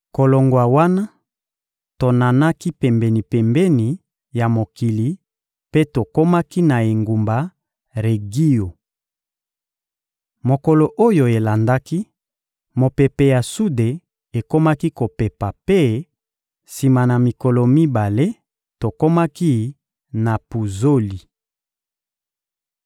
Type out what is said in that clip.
Kolongwa wana, tonanaki pembeni-pembeni ya mokili mpe tokomaki na engumba Regio. Mokolo oyo elandaki, mopepe ya sude ekomaki kopepa mpe, sima na mikolo mibale, tokomaki na Puzoli.